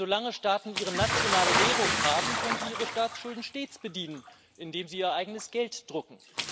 Denn solange Staaten ihre nationale Währung haben, können sie ihre Staatsschulden stets bedienen, indem sie ihr eigenes Geld drucken.